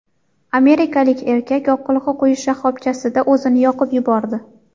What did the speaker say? Amerikalik erkak yoqilg‘i quyish shoxobchasida o‘zini yoqib yubordi.